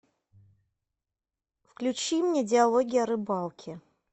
включи мне диалоги о рыбалке